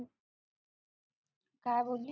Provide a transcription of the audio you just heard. काय बोलली